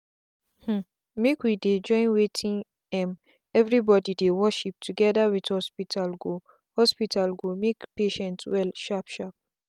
hmmmmake we dey join wetin um everybody dey worship together with hospital go hospital go make patient well sharp sharp.